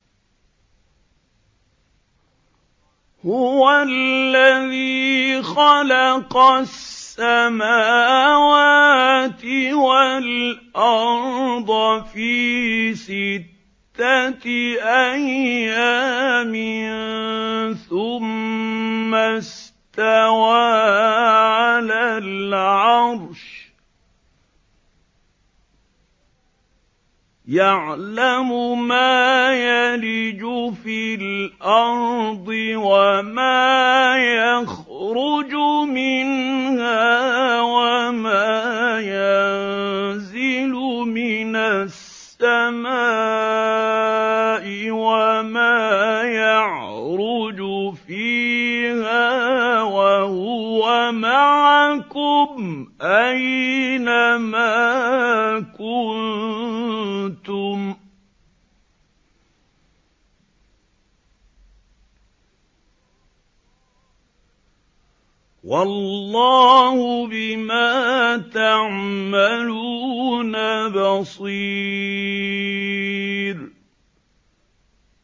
هُوَ الَّذِي خَلَقَ السَّمَاوَاتِ وَالْأَرْضَ فِي سِتَّةِ أَيَّامٍ ثُمَّ اسْتَوَىٰ عَلَى الْعَرْشِ ۚ يَعْلَمُ مَا يَلِجُ فِي الْأَرْضِ وَمَا يَخْرُجُ مِنْهَا وَمَا يَنزِلُ مِنَ السَّمَاءِ وَمَا يَعْرُجُ فِيهَا ۖ وَهُوَ مَعَكُمْ أَيْنَ مَا كُنتُمْ ۚ وَاللَّهُ بِمَا تَعْمَلُونَ بَصِيرٌ